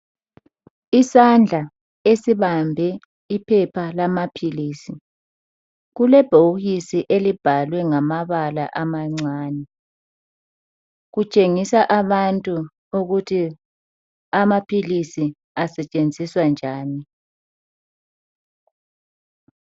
Isandla esibambe iphepha lamaphilisi, kulebhokisi elibhalwe ngamabala amancani .Kutshengisa abantu ukuthi amaphilisi asetshenziswa njani.